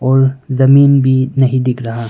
और जमीन भी नहीं दिख रहा--